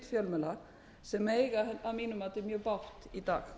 fjölmiðla sem eiga að mínu viti mjög bágt í dag